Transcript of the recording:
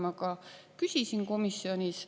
Seda ma ka küsisin komisjonis.